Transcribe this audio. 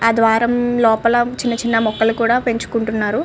ఆ ద్వారము లోపల చిన్న చిన్న మొక్కలు కూడా పెంచుకుంటున్నారు.